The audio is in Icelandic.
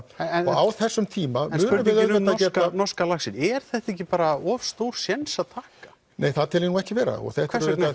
á þessum tíma munum við auðvitað geta norska laxinn er þetta ekki bara of stór séns að taka nei það tel ég nú ekki vera hvers vegna